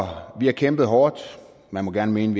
vi har kæmpet hårdt man må gerne mene